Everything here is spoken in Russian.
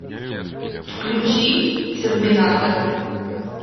включи терминатор